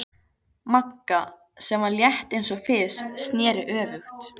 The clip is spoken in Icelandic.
Magga, sem var létt eins og fis, sneri öfugt.